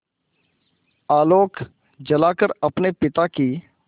आलोक जलाकर अपने पिता की